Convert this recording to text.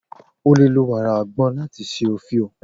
O le lo wara agbon lati ṣe ofio.